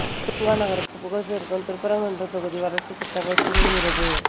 தூங்கா நகருக்கு புகழ் சேர்க்கும் திருப்பரங்குன்றம் தொகுதி வளர்ச்சி திட்டங்கள் தூங்குகிறது